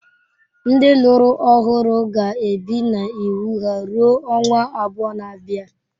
Ndị lụrụ ọhụrụ ga-ebi na iwu ha rue ọnwa abụọ na-abịa!